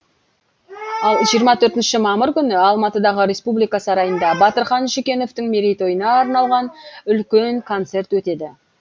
ал жиырма төртінші мамыр күні алматыдағы республика сарайында батырхан шүкеновтың мерейтойына арналған үлкен концерт өтеді